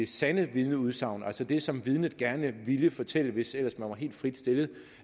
sande vidneudsagn frem altså det som vidnet gerne ville fortælle hvis ellers man var helt frit stillet